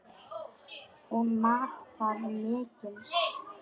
Hún mat það mikils.